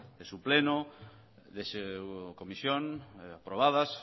de su pleno de su comisión aprobadas